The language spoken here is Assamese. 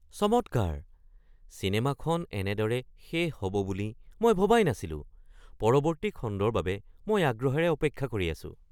চমৎকাৰ! চিনেমাখন এনেদৰে শেষ হ’ব বুলি মই ভবাই নাছিলো। পৰৱৰ্তী খণ্ডৰ বাবে মই আগ্ৰহেৰে অপেক্ষা কৰি আছো।